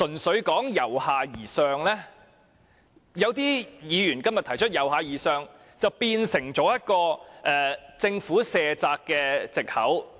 所以，正如有些議員今天提出，"由下而上"變成政府卸責的藉口。